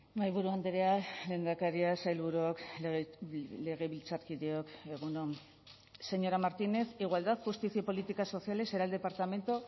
mahaiburu andrea lehendakaria sailburuok legebiltzarkideok egun on señora martínez igualdad justicia y políticas sociales será el departamento